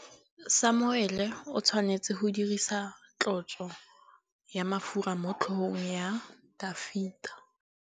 Samuele o tshwanetse go dirisa tlotsô ya mafura motlhôgong ya Dafita.